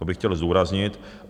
To bych chtěl zdůraznit.